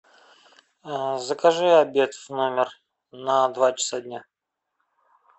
закажи обед в номер на два часа дня